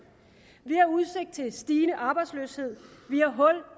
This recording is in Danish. vi har udsigt til stigende arbejdsløshed